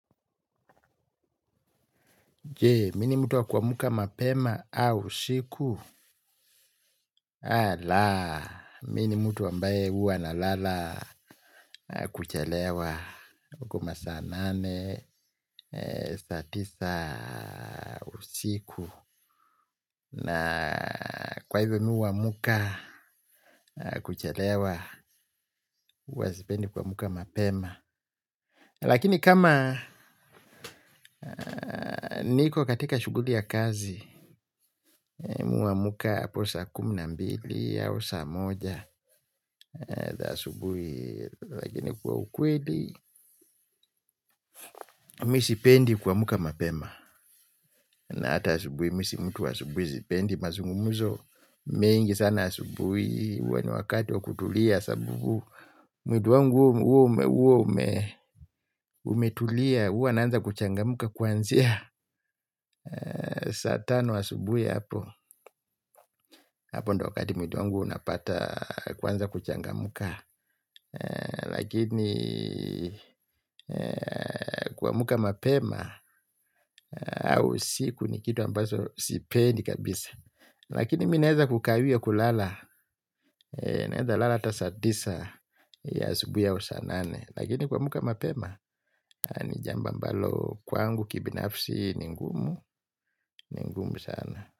Je, mi ni mtu wa kuamka mapema au usiku? Alaa, mi ni mtu ambaye huwa nalala kuchelewa. Uko masaa nane, saa tisa usiku. Na kwa hivyo mi huamka kuchelewa, huwa sipendi kuamka mapema. Lakini kama niko katika shuguli ya kazi, mi huamka hapo saa kumi na mbili au saa moja. Asubui, lakini kwa ukweli, mi sipendi kuamka mapema, na ata asubui, mi si mtu asubui, sipendi, mazungumzo, mingi sana asubui, huwa ni wakati wa kutulia, sababu, mwili wangu huwa umetulia, huwa naanza kuchangamka kuanzia, saa tano asubuhi hapo, hapo ndo wakati mwili wangu unapata kuanza kuchangamka, lakini kuamka mapema au usiku ni kitu ambacho sipendi kabisa lakini mi naeza kukawia kulala naeza lala ata saa tisa ya asubui au saa nane lakini kuamka mapema ni jambo ambalo kwangu kibinafsi ni ngumu ni ngumu sana.